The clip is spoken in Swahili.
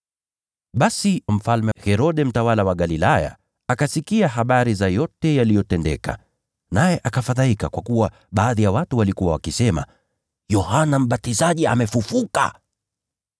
Basi Mfalme Herode, mtawala wa Galilaya, alisikia habari za yote yaliyotendeka. Naye akafadhaika, kwa kuwa baadhi ya watu walikuwa wakisema Yohana Mbatizaji amefufuliwa kutoka kwa wafu.